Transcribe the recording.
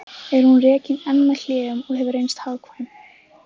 Er hún rekin enn með hléum og hefur reynst hagkvæm.